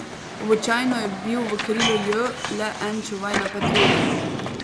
Običajno je bil v krilu J le en čuvaj na patrulji.